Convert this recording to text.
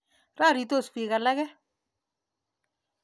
Roritos piik alake.